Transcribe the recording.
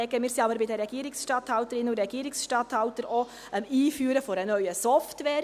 Wir sind aber bei den Regierungsstatthalterinnen und Regierungsstatthaltern am Einführen einer neuen Software.